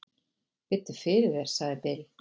"""Biddu fyrir þér, sagði Bill."""